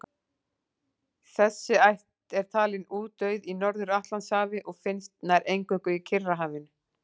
Þessi ætt er talin útdauð í Norður-Atlantshafi og finnst nær eingöngu í Kyrrahafinu.